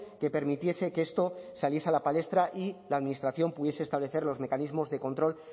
que permitiese que esto saliese a la palestra y la administración pudiese establecer los mecanismos de control